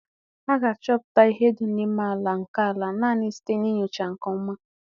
A ga-achọpụta ihe dị n'ime àlà nkè àlà naanị site na ńyòcha nke ọma